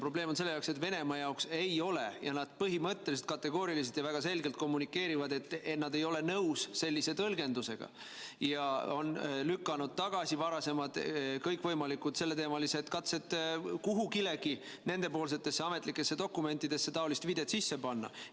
Probleem on selles, et Venemaa jaoks ei ole ja nad põhimõtteliselt kategooriliselt ja väga selgelt kommunikeerivad, et nad ei ole nõus sellise tõlgendusega, ja on lükanud tagasi varasemad kõikvõimalikud katsed kuhugigi nendepoolsetesse ametlikesse dokumentidesse taolist viidet sisse panna.